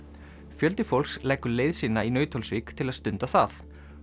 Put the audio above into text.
fjöldi fólks leggur leið sína í Nauthólsvík til að stunda það